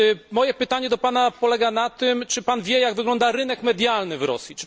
Moje pytanie do Pana polega na tym, czy Pan wie jak wygląda rynek medialny w Rosji?